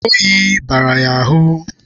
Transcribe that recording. Oyi bara ha ahụ